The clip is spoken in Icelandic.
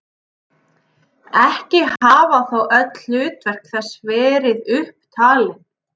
Ekki hafa þó öll hlutverk þess verið upp talin.